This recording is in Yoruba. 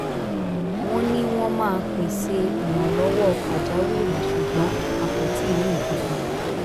wọ́n ní wọ́n máa pese ìrànlọ́wọ́ pajawiri ṣùgbọ́n a kò tíì rí nkankan